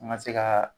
An ga se ka